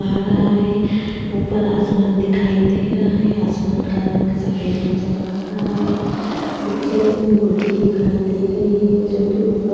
आ रहा है। ऊपर आसमान दिखाई दे रहा है। आसमान का रंग सफेद नजर आ रहा है। पीछे एक मूर्ति दिखाई दे रही है जो कि ऊपर --